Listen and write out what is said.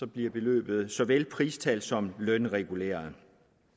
bliver beløbet såvel pristals som lønreguleret